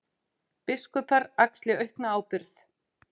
Biskupar axli aukna ábyrgð